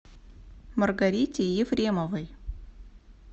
маргарите ефремовой